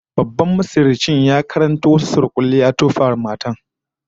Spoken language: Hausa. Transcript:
Babban masihircin ya karanto wasu surkulle ya tofa wa matar